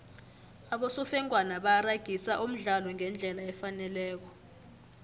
abosofengwana baragisa umdlalo ngendlela efaneleko